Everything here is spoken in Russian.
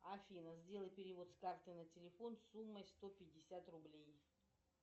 афина сделай перевод с карты на телефон суммой сто пятьдесят рублей